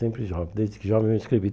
Sempre assim, desde que jovem eu escrevi.